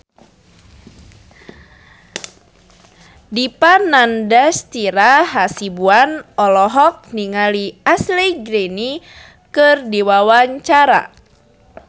Dipa Nandastyra Hasibuan olohok ningali Ashley Greene keur diwawancara